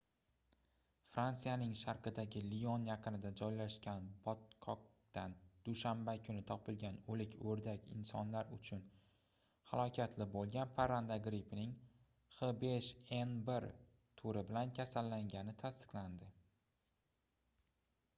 fransiyaning sharqidagi lion yaqinida joylashgan botqoqdan dushanba kuni topilgan o'lik o'rdak insonlar uchun halokatli bo'lgan parranda grippining h5n1 turi bilan kasallangani tasdiqlandi